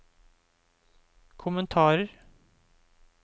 kommentarer